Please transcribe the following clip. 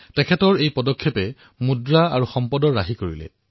তেওঁৰ এই পদক্ষেপৰ জৰিয়তে টকা আৰু সংসাধন ৰাহি হল